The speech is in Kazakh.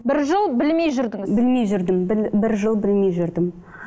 бір жыл білмей жүрдіңіз білмей жүрдім біл бір жыл білмей жүрдім